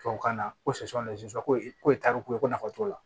Tubabukan na ko ko taariku ye ko nafa t'o la